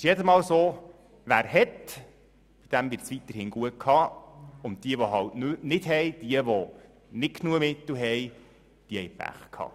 Es ist jedes Mal so: Wer hat, dem wird es weiterhin gut gehen, und diejenigen, die nicht genügend Mittel haben, haben Pech gehabt.